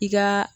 I ka